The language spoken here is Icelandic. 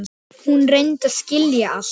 Hún reynir að skilja allt.